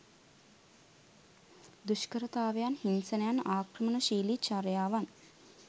දුෂ්කරතාවයන්, හිංසනයන්, ආක්‍රමණශීලී චර්යාවන්